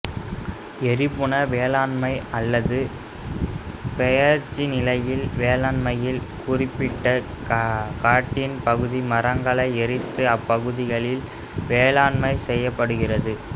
எரிபுன வேளாண்மை அல்லது பெயர்ச்சிநிலை வேளாண்மையில் குறிப்பிட்ட காட்டின் பகுதி மரங்களை எரித்து அப்பகுதியில் வேளாண்மை செய்யப்படுகிறது